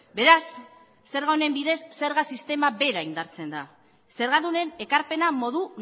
beraz zerga honen bidez zerga sistema bera indartzen da zergadunen ekarpena modu